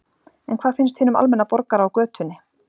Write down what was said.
En hvað finnst hinum almenna borgara á götunni?